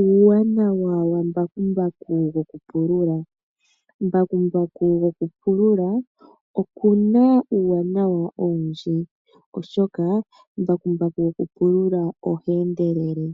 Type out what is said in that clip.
Uuwanawa wa mbakumbaku woku pulula. Mbakumbaku woku pulula okuna uuwanawa owundji, oshoka oha endelele,